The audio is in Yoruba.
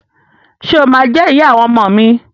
Ṣe o ma jẹ ìyá àwọn ọmọ mi?